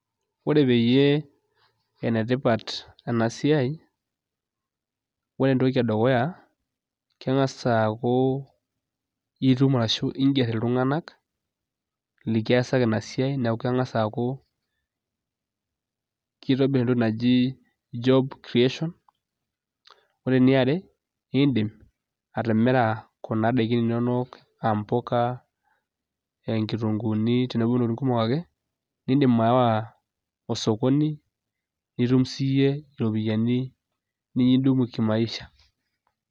Ore peyie enetipat ena siai, ore entoki edukuya kengas aaku itum ashu iiger iltunganak nikiasaki ina siai neeku kengas aaku kitobir entoki naji job creation. Ore eniare iidim atimira kuna daikin inono, aambuka, aankitunguuni tenebo intokitin kumok ake, niidim aawa osokoni nitum siyie iropiyiani nikiidumu kimaisha.